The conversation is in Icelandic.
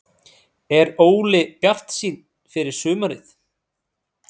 Er Óli bjartsýnn fyrir sumarið?